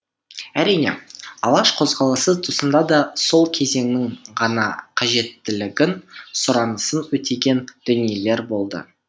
әрине алаш қозғалысы тұсында да сол кезеңнің ғана қажеттілігін сұранысын өтеген дүниелер болды